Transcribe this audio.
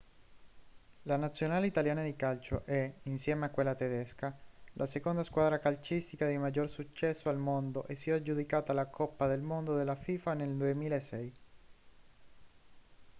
la nazionale italiana di calcio è insieme a quella tedesca la seconda squadra calcistica di maggior successo al mondo e si è aggiudicata la coppa del mondo della fifa nel 2006